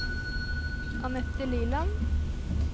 Annette Liland